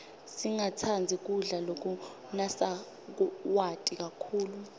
singatsandzi kudla lokunasawati kakhulu